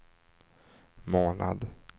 månad